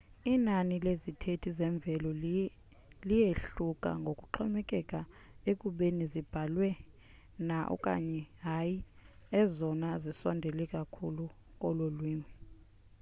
inani lezithethi zemveli liyehluka ngokuxhomekeka ekubeni zibaliwe na okanye hayi ezona zisondele kakhulu kololwimi